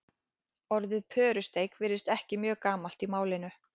orðið pörusteik virðist ekki mjög gamalt í málinu